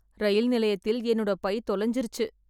இரயில் நிலையத்தில் என்னோட பை தொலைஞ்சிறுச்சு